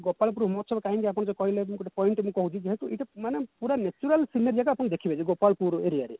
ଗୋପାଳପୁର ଉନ୍ମୋଚନ କାହିଁକି ଆପଣ ଯଉ କହିଲେ ଗୋଟେ point ଟେ ମୁଁ କହୁଛି ଯେହେତୁ ଏଇଟା ମାନେ ପୁରା natural scenery ଜାଗା ଆପଣ ଦେଖିବେ ଯେ ଗୋପାଳପୁର area ରେ